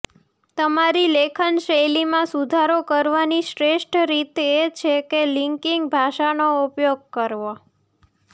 તમારી લેખન શૈલીમાં સુધારો કરવાની શ્રેષ્ઠ રીત એ છે કે લિંકિંગ ભાષાનો ઉપયોગ કરવો